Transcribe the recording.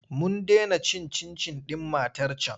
Mun dena cin cin-cin ɗin matar can.